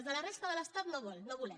els de la resta de l’estat no vol no volem